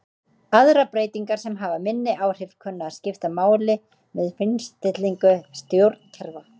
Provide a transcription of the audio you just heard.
Aðrar breytingar sem hafa minni áhrif kunna að skipta máli við fínstillingu stjórnkerfa.